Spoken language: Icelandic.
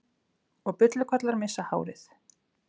Og bullukollar missa hárið.